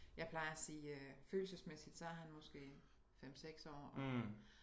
Jeg plejer at sige øh følelsesmæssigt så er han måske 5 6 år